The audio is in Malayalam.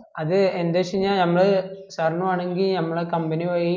ആ അത് എന്ത് വെച് കയ്‌ഞാൽ നമ്മള് sir ന് വേണേങ്കിൽ ഞമ്മള് company വക ഈ